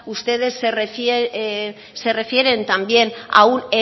ustedes se refieren también a un